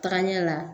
Tagaɲɛ la